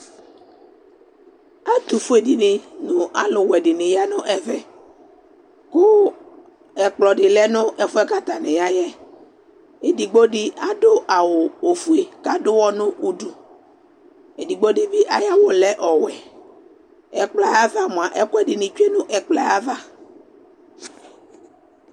Ɛtufue dini nu aluwɛ dini ya nu ɛvɛ Ku ɛkplɔ di lɛ nu ɛfu yɛ ku atani ya yɛ Edigbo di adu awu ɔfue ku aduwɔ nu udu Ɛdigbo di bi ayu awu yɛ lɛ ɔwɛ Ɛkplɔ yɛ ava mua ɛku ɛdini tsue nu ɛkplɔ yɛ ayava